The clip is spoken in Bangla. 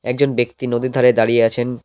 একজন ব্যক্তি নদীর ধারে দাঁড়িয়ে আছেন।